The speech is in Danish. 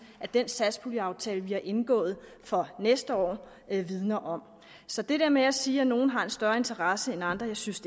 at den satspuljeaftale vi har indgået for næste år vidner om så det der med at sige at nogen har en større interesse end andre synes